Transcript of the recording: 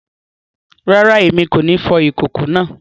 Rara, Èmi o ní fò ikoko náà